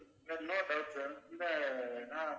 sir இன்னொரு doubt sir இந்த ஆஹ்